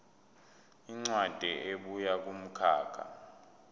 incwadi ebuya kumkhakha